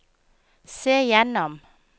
se gjennom